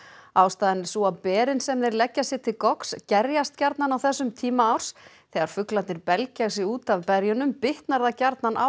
ástæðan er sú að berin sem þeir leggja sér til gerjast gjarnan á þessum tíma árs þegar fuglarnir belgja sig út af berjunum bitnar það gjarnan á